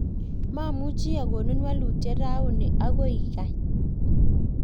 mamuchi akonin wolutiet rauni, agoi ikany